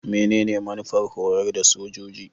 Menene manufar horar da sojoji?